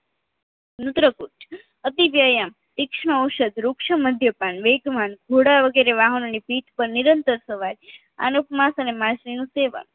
નૂત્રકુચ અતિવ્યાયામ સિક્ષ્નઔસધ ઋક્ષમધ્યાપાન વેગમાં ઘોડા વગેરે વાહનોની પીઠ પર નિરંતર સવાર અનુપમાસ અને માછલીનું સેવન